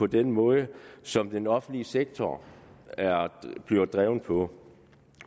den måde som den offentlige sektor bliver drevet på